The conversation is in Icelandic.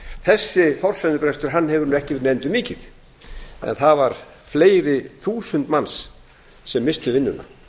þessi forsendubrestur hefur ekki verið nefndur mikið en það voru fleiri þúsund manns sem misstu vinnuna